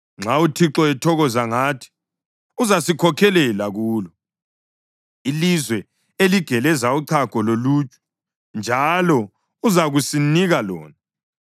Nxa uThixo ethokoza ngathi, uzasikhokhelela kulo, ilizwe eligeleza uchago loluju, njalo uzakusinika lona.